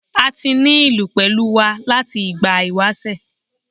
A ti ní ìlú pẹ̀lú wa láti ìgbà ìwásẹ̀.